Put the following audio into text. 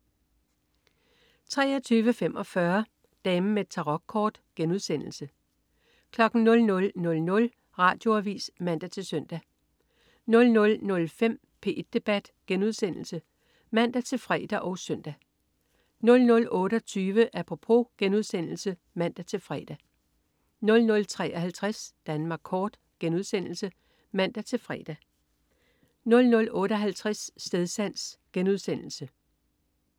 23.45 Damen med Tarokkort* 00.00 Radioavis (man-søn) 00.05 P1 Debat* (man-fre og søn) 00.28 Apropos* (man-fre) 00.53 Danmark kort* (man-fre) 00.58 Stedsans*